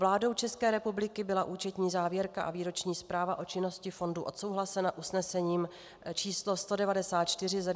Vládou České republiky byla účetní závěrka a výroční zpráva o činnosti fondu odsouhlasena usnesením č. 194 ze dne 24. března tohoto roku.